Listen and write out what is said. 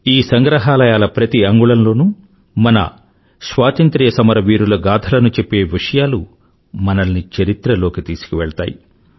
ఈ సంగ్రహాలయాల ప్రతి అంగుళంలోనూ మన స్వాతంత్ర సమరవీరుల గాధలను చెప్పే విషయాలు మనల్ని చరిత్రలోకి తీసుకువెళ్తాయి